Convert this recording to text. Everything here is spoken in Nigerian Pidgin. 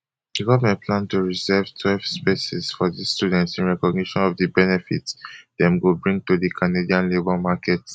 di goment plan to reserve twelve spaces for dis students in recognition of di benefits dem go bring to di canadian labour market